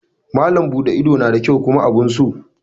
Malam buɗe ido na da kyau kuma abun so.